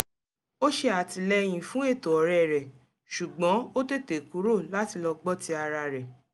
ó ṣe àtìlẹyìn fún ètò ọ̀rẹ́ rẹ̀ ṣùgbọ́n ó tètè kùrò láti lọ gbọ́ ti ara rẹ̀